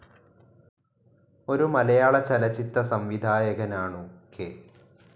ഒരു മലയാളചലചിത്ത സംവിധായാകാൻ ആണു കെ.